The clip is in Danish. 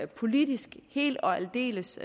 politisk helt og aldeles